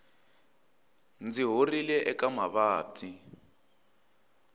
ndzi horile eka mavabyi